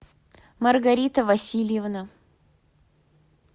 маргарита васильевна